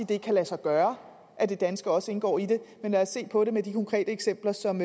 det ikke lade sig gøre at det danske også indgår i det men lad os se på det med de konkrete eksempler som